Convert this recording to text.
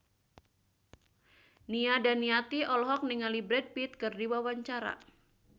Nia Daniati olohok ningali Brad Pitt keur diwawancara